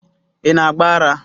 Ị na agba ara.